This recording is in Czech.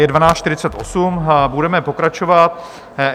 Je 12.48 hodin, budeme pokračovat.